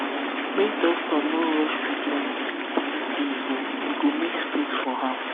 make doctor no rush treatment if belief dey involved e good make space for am